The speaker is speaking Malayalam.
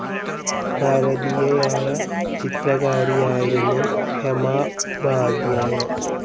ഭാരതീയയായ ചിത്രകാരിയായിരുന്നു ഹേമ ഉപാധ്യായ.